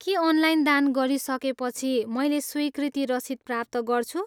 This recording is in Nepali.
के अनलाइन दान गरिसकेपछि मैले स्वीकृति रसिद प्राप्त गर्छु?